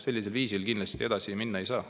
Sellisel viisil kindlasti edasi minna ei saa.